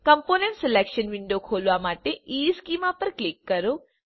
component selection window ખોલવા માટે ઇશ્ચેમાં પર ક્લિક કરો